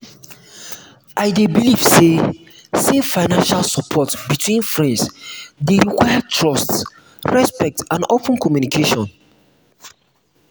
i dey believe say say financial support between friends dey require trust respect and open communication.